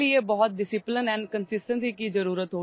यासाठी कठोर शिस्त आणि सातत्य आवश्यक आहे